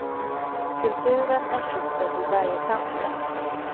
Kulturen är kittet i varje samhälle.